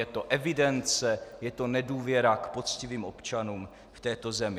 Je to evidence, je to nedůvěra k poctivým občanům v této zemi.